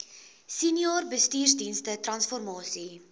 senior bestuursdienste transformasie